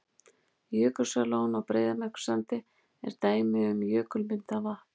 Jökulsárlón á Breiðamerkursandi er dæmi um jökulmyndað vatn.